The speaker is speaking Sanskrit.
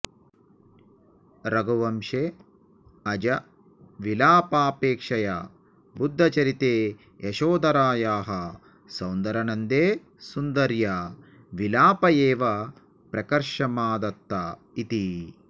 रघुवंशे अजविलापापेक्षया बुद्धचरिते यशोधरायाः सौन्दरनन्दे सुन्दर्या विलाप एव प्रकर्षमाधत्त इति